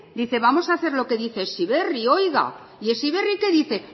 dice vamos a hacer lo que dice heziberri oiga y heziberri qué dice